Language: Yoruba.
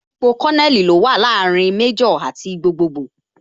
Ipò Kononeli ní ó wà láàrin Méjò àti gbogboogbo